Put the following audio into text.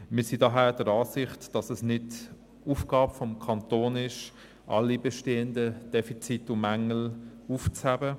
Wir sind daher der Ansicht, dass es nicht Aufgabe des Kantons ist, alle bestehenden Defizite und Mängel aufzufangen.